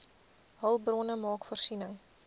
hulpbronne maak voorsiening